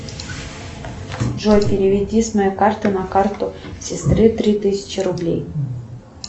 джой переведи с моей карты на карту сестры три тысячи рублей